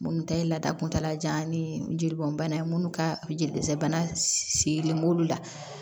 Minnu ta ye laada kuntalajan ni jeli bɔn bana ye minnu ka jelisɛnɛ bana sigilen b'olu la